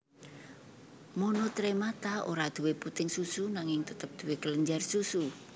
Monotremata ora duwé puting susu nanging tetep duwé kelenjar susu